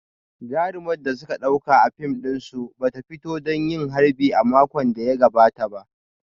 Jarumar da suka dauka a fim dinsu ba ta fito don yin harbi a makon da ya gabata ba